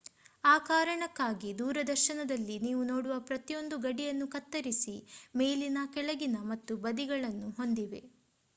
ಆ ಕಾರಣಕ್ಕಾಗಿ ದೂರದರ್ಶನದಲ್ಲಿ ನೀವು ನೋಡುವ ಪ್ರತಿಯೊಂದು ಗಡಿಯನ್ನು ಕತ್ತರಿಸಿ ಮೇಲಿನ ಕೆಳಗಿನ ಮತ್ತು ಬದಿಗಳನ್ನು ಹೊಂದಿವೆ